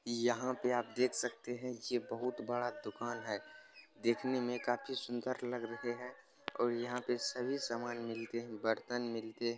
यहाँ पे आप देख सकते हैं ये बहुत बड़ा दुकान है। देखने में काफी सुंदर लग रहे है और यहाँ पे सभी सामान मिलते है बर्तन मिलते है।